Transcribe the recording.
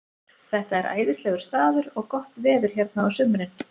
Þetta er æðislegur staður og gott veður hérna á sumrin.